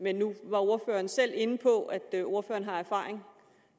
men nu var ordføreren selv inde på at ordføreren har erfaring